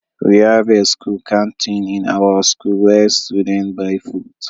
We have a school canteen in our school where students buy food.